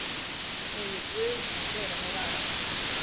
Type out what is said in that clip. Megi Guð vera með Ara.